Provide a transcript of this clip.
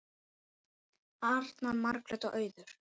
Arnar, Margrét og Auður.